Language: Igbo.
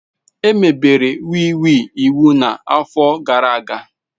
Emebere wii wii iwu na afọ gara aga